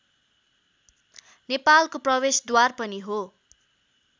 नेपालको प्रवेशद्वार पनि हो